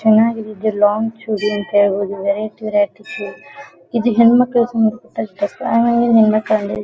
ಚೆನ್ನಾಗಿ ಇದೆ ಲಾಂಗ್ ಚೂಡಿ ಅಂತ ಹೇಳ್ಬಹುದು. ವೆರೈಟಿ ವೆರೈಟಿ ಚೂಡಿ ಇದು ಹೆಣ್ ಮಕ್ಕಳು